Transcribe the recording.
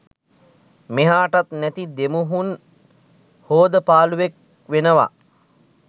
මෙහාටත් නැති දෙමුහුන් හෝදපාලුවෙක් වෙනවා